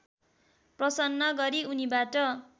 प्रसन्न गरी उनीबाट